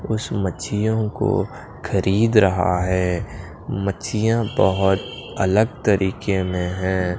कुछ मछीयों को खरीद रहा है मछीया बहोत अलग तरीके में है।